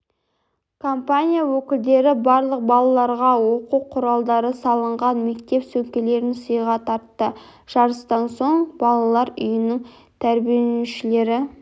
компания өкілдері барлық балаларға оқу құралдары салынған мектеп сөмкелерін сыйға тартты жарыстан соң балалар үйінің тәрбиеленушілері